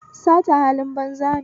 Sata halin banza ne